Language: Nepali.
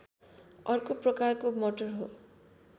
अर्को प्रकारको मटर हो